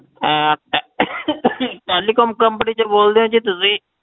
ਅਹ telecom company ਤੋਂ ਬੋਲਦੇ ਹੋ ਜੀ ਤੁਸੀਂ?